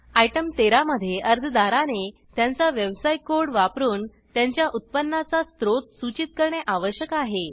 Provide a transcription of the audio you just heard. item 13 मध्ये अर्जदाराने त्यांचा व्यवसाय कोड वापरून त्यांच्या उत्पन्नाचा स्रोत सूचित करणे आवश्यक आहे